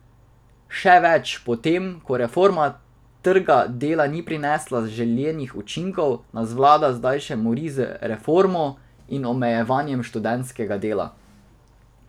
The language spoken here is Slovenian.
Še več, po tem, ko reforma trga dela ni prinesla želenih učinkov, nas vlada zdaj še mori z reformo in omejevanjem študentskega dela.